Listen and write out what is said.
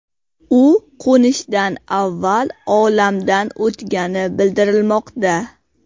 U qo‘nishdan avval olamdan o‘tgani bildirilmoqda.